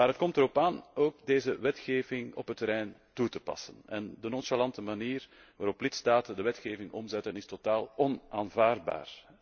Maar het komt erop aan deze wetgeving ook op het terrein toe te passen en de nonchalante manier waarop lidstaten de wetgeving omzetten is totaal onaanvaardbaar.